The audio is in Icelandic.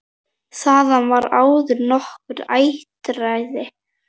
Þaðan var áður nokkurt útræði.